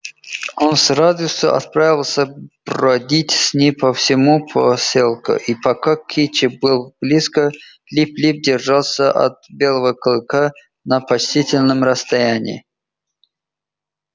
он с радостью отправился бродить с ней по всему посёлку и пока кичи была близко лип лип держался от белело клыка на почтительном расстоянии